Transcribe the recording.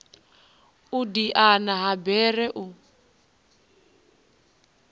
u diana ha bere u